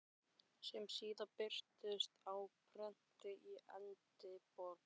sem síðar birtust á prenti í Edinborg.